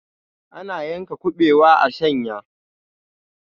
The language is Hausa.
ana yanka kubewa a shanya